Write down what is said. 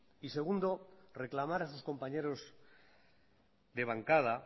y segundo reclamar a sus compañeros de bancada